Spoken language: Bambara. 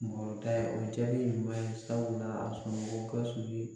ɲuman ye sabula a sɔnna Gawusu ye